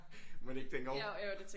Mon ikke den går?